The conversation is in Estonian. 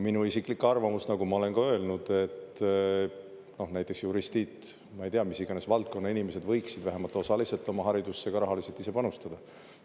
Minu isiklik arvamus on, nagu ma olen ka öelnud, et näiteks juristid, ma ei tea, mis iganes valdkonna inimesed, võiksid vähemalt osaliselt oma haridusse ka rahaliselt panustada.